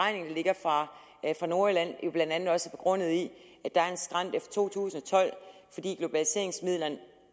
ligger fra nordjylland blandt andet også er begrundet i at der er en skrænt efter to tusind og tolv fordi globaliseringsmidlerne